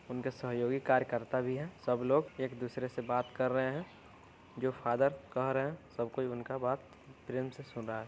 उनके सहयोगी कार्यकर्ता भी हैं। सबलोग एक दूसरे से बात कर रहे हैं। जो फादर कह रहे है सब कोई उनका बात प्रेम से सुन रहा है।